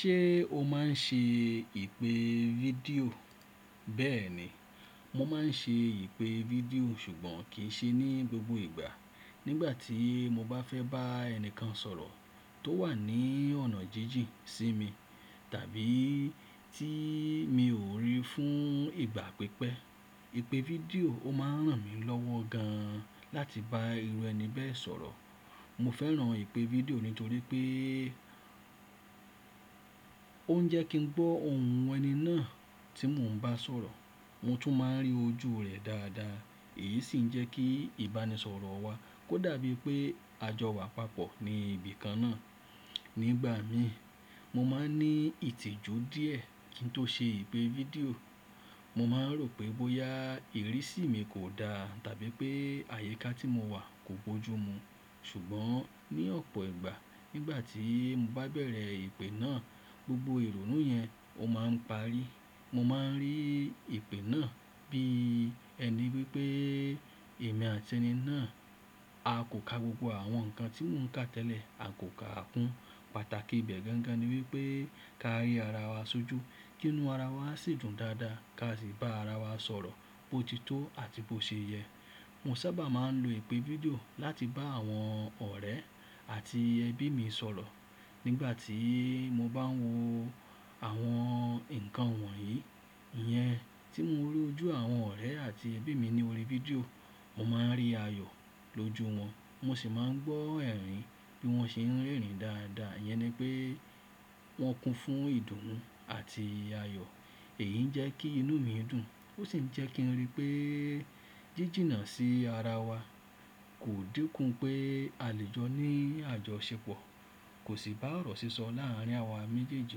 Ṣé o máa ń ṣe ìpè fídíò? Bẹ́ẹ̀ni, mo máa ń ṣe ìpè fídíò ṣùgbọ́n kì í ṣe ní gbogbo ìgbà. Nígbà tí mo bá fẹ́ bá ẹni kan sọ̀rọ̀ tó wà ní ọ̀nà jínjìn sí mi tàbí tí mi ò rí fún ìgbà pípẹ́, ìpè fídíò ó máa ń ràn mí lọ́wọ́ gan láti bá irú ẹni bẹ́ẹ̀ sọ̀rọ̀. Mo fẹ́ràn ìpè fídíò nítorí pé ó ń jẹ́ kí n gbó ohùn ẹni náà tí mò ń bá sọ̀rọ̀. Mo tún máa ń rí ojú rẹ́ dáadáa. Èyí sì ń jẹ́ kí ìbánisọ̀rọ̀ wa kó dàbí pé a jọ wà papọ̀ ní ibi kan náà. Nígbà mi, mo máa ń ní ìtìjú díẹ̀ kí n tó ṣe ìpè fídíò. Mo máa ń rò pé bóyá ìrísí mi kò dá tàbí pé àyíká tí mo wà kò gbójú mu. Ṣùgbọ́n ní ọ̀pọ̀ ìgbà nígbà tí mo bá bẹ̀rẹ̀ ìpè náà gbogbo ìrònú yẹn ó máa ń parí. Mo máa ń rí ìpè náà bí ẹni pé pé èmi àti ẹni náà a kò ka gbogbo àwọn nǹkan tí mò ń ka tẹ́lẹ̀, a kò ka àkún. Pàtàkì ibẹ̀ gangan ni wípé ká rí ara wa sójú, kí inú ara wa sì dùn dáadáa ka sì bá ara wa sọ̀rọ̀ bó ti tó àti bó ṣe yẹ. Mo sábà máa ń lo ìpè fídíò láti bá àwọn ọ̀rẹ́ àti ẹbí mi sọ̀rọ̀. Nígbà tí mo bá ń wo àwọn nǹkan wọ̀nyí, ìyẹn tí mo rí ojú àwọn ọ̀rẹ́ àti ẹbí mi ni orí fídíò, mo máa ń rí ayọ̀ lójú wọn. Mo sì máa ń gbọ́ ẹ̀rín bí wọ́n ṣe ń rẹ́rìn ín dáadáa. Ìyẹn ni pé wọ́n kún fún ìdùnnú àti ayọ̀. Èyí ń jẹ́ kí inú mi dùn. Ó sì ń jẹ́ kí n rí pé jíjìnà sí ara wa kò dínkù pé a lè jọ ní àjọ ṣe pọ̀. Kò sì bá ọ̀rọ̀ sísọ láàárín àwa méjèèjì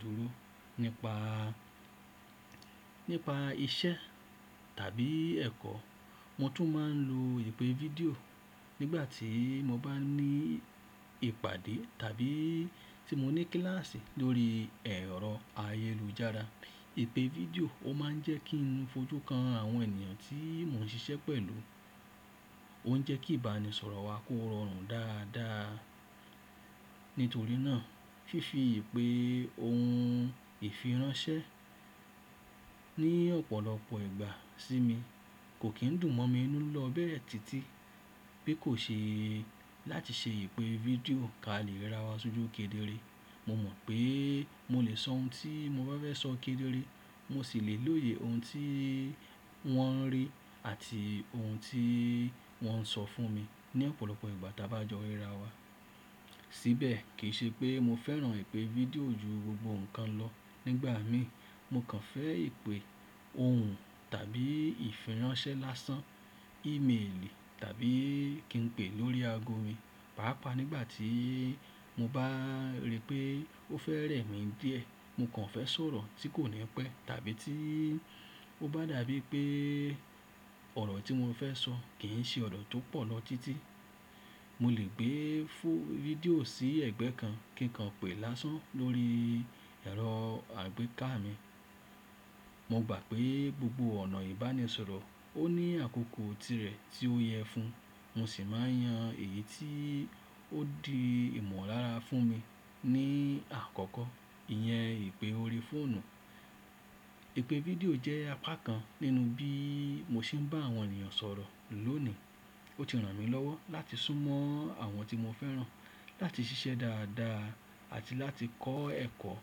dúró nípa, nípa iṣẹ́ tàbí ẹ̀kọ́. Mo tún máa ń lo ìpè fídíò nígbà tí mo bá ní ìpàdé tàbí tí mo ní kíláàsì lórí ẹ̀rọ ayélujára. Ìpè fídíò ó máa ń jẹ́ kí n fojú kan àwọn ènìyàn tí mò ń ṣiṣẹ́ pẹ̀lú. Ó ń jẹ́ kí ìbánisọ̀rọ̀ wa kó rọrùn dáadáa. Nítorí náà, fífi ìpè ohùn ìfiránsẹ́ ní ọ̀pọ̀lọpọ̀ ìgbà sí mi kò kí ń dùn mọ́ mi inú lọ bẹ́ẹ̀ títí pé kò ṣe láti ṣe ìpè fídíò ká lè rí ara wa sójú kedere. Mo mọ̀ pé mo lè sọ ohun tí mo bá fẹ́ sọ kedere. Mo sì lè lóye ohun tí wọ́n ń rí àti ohun tí wọ́n ń sọ fún mi ní ọ̀pọ̀lọpọ̀ ìgbà tí a bá jọ rí ara wa. Síbẹ̀ kì í ṣe pé mo fẹ́ràn ìpè fídíò ju gbogbo nǹkan lọ. Nígbà mi, mo kàn fẹ́ ìpè ohùn tàbí ìfiránsẹ́ lásán, ímeèlì tàbí kí n pè lórí ago mi. Páápàá nígbà tí mo bá rí pé ó fẹ́ rẹ̀ mí díẹ̀, mo kàn fẹ́ sọ̀rọ̀ tí kò ní pẹ́ tàbí tí ó bá dàbí pé ọ̀rọ̀ tí mo fẹ́ sọ kì í ṣe ọ̀rọ̀ tó pọ̀ lọ títí. Mo lè gbé fúù fídíò sí ẹ̀gbẹ́ kan kí n lè pè lásán lórí ẹ̀rọ àgbéká mi. Mo gbà pé gbogbo ọ̀nà ìbánisọ̀rọ̀ ó ní àkókò tirẹ̀ tí ó yẹ fún un. Mo sì máa ń yan èyí tí ó di ìmọ̀lára fún mi. Ní àkọ́kọ́, ìyẹn ìpè orí fóònù. Ìpè fídíò jẹ́ apá kan nínú bí mo ṣe ń bá àwọn ènìyàn sọ̀rọ̀ lónìí. Ó ti ràn mí lọ́wọ́ láti súnmọ́ àwọn tí mo fẹ́ràn, láti ṣiṣẹ́ dáadáa àti láti kọ́ ẹ̀kọ́.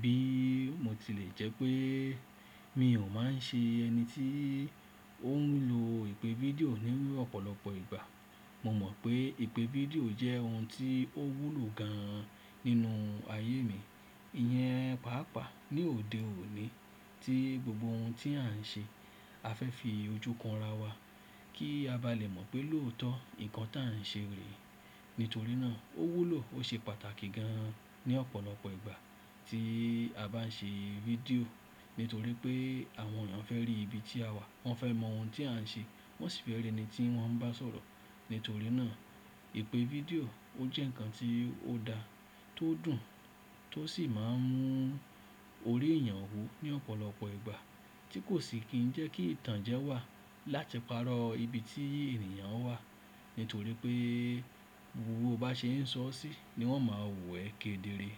Bí mo tilẹ̀ jẹ́ pé mi ò máa ń ṣe ẹni tí ó ń lo ìpè fídíò ní ọ̀pọ̀lọpọ̀ ìgbà, mo mọ̀ pé ìpè fídíò jẹ́ ohun tí ó wúlò gan nínú ayé mi. Ìyẹn pàápàá ní òde òní tí gbogbo ohun tí à ń ṣe a fẹ́ fi ojú kan ara wa kí a bá lè mọ̀ pé lóòótọ́ nǹkan tí à ń ṣe rè é. Nítorí náà ó wúlò ó ṣe pàtàkì gan ní ọ̀pọ̀lọpọ̀ ìgbà tí a bá ń ṣe fídíò. Nítorí pé àwọn ènìyàn fẹ́ rí ibi tí a wà, wọ́n fẹ́ mọ ohun tí à ń ṣe, wọ́n sì fẹ́ rí ẹni tí wọ́n bá ń sọ̀rọ̀. Nítorí náà ìpè fídíò ó jẹ́ ǹkan tí ó da, tó dùn tó sì máa ń mú orí èèyàn hú ní ọ̀pọ̀lọpọ̀ ìgbà tí kò sì kí ń jẹ́ kí ìtànjẹ wà láti parọ́ ibi tí èèyàn wà. Nítorí pé gbogbo ó bá ṣe ń sọ ọ́ sí ni wọ́n máa wẹ̀ kedere.